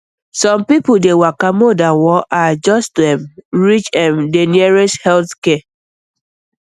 some people dey waka more than one hour just to um reach um the nearest health center um